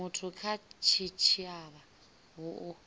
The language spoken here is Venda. muthu kha tshitshavha hu u